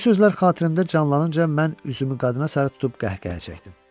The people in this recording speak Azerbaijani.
Bu sözlər xatirimdə canlanınca mən üzümü qadına sarı tutub qəhqəhə çəkdim.